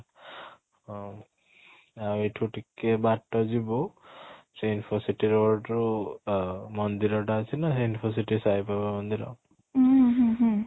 ହଁ ଆଉ ଏଇଠୁ ଟିକେ ବାଟ ଯିବୁ ସେଇ Infocity road ରୁ ଆ ମନ୍ଦିର ଟା ଅଛି ନା ସେଇ Infocity ସାଇ ବାବା ମନ୍ଦିର